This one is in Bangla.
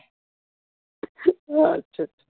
আচ্ছা